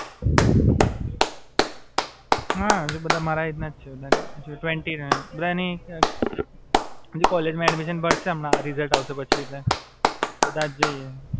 હાં, હજુ બધા મારા એજ નાજ છે. ટવેન્ટી ને. બધાની કોલેજ માં એડ્મિશન મડસે હવે રિજલ્ટ અવસે એટલે